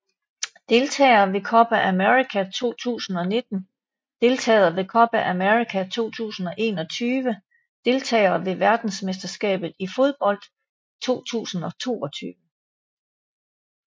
Deltagere ved Copa América 2019 Deltagere ved Copa América 2021 Deltagere ved verdensmesterskabet i fodbold 2022